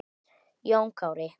Jón Kári.